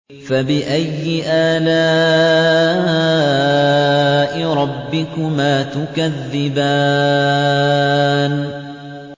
فَبِأَيِّ آلَاءِ رَبِّكُمَا تُكَذِّبَانِ